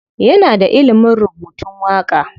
Yana da ilimin rubutun waƙa.